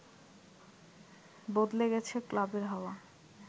বদলে গেছে ক্লাবের হাওয়া